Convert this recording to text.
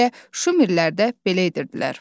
Elə Şumerlərdə belə edirdilər.